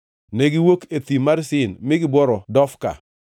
Negiwuok e Thim mar Sin mi gibworo Dofka.